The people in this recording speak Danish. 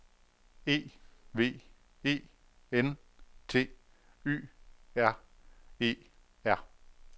E V E N T Y R E R